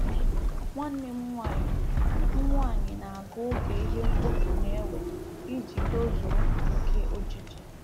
Nwanne m nwanyị m nwanyị na agu oge ihe mkpofu na-ewe iji tozuo nke ojiji